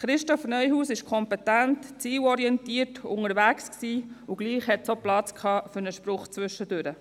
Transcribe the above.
Christoph Neuhaus war kompetent, zielorientiert unterwegs, und es blieb auch Platz für einen Spruch zwischendurch.